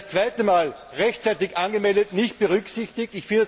Ich werde jetzt zum zweiten Mal, rechtzeitig angemeldet, nicht berücksichtigt.